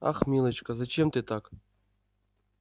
ах милочка зачем ты так